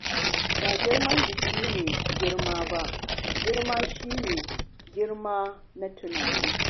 Ba girman jiki ne girma ba, girma shi ne girma na tunani.